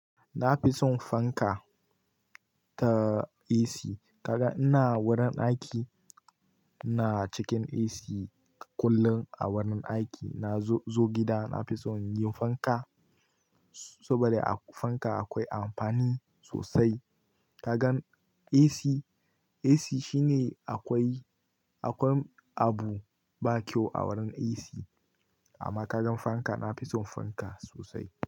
Na fi son fanka ta AC. Kaga ina wurin aiki, ina cikin AC kullum a wurin aiki. Na zo gida na fi son yin fanka saboda a fanka akwai amfani sosai. Kagan AC, AC shine akwai, akwai abu ba kyau a wurin AC. Amma kagan fanka, na fi son fanka sosai.